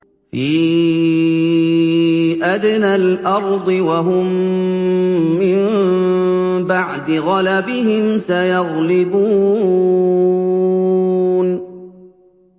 فِي أَدْنَى الْأَرْضِ وَهُم مِّن بَعْدِ غَلَبِهِمْ سَيَغْلِبُونَ